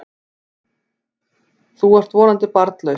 Þú ert þó vonandi barnlaus?